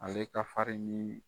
Ale ka